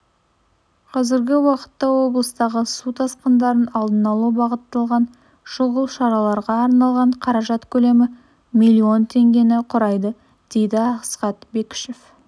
қазіргі уақытта облыстағы су тасқындарын алдын алуға бағытталған шұғыл шараларға арналған қаражат көлемі миллион теңгені құрайды дейді асхат бәкішев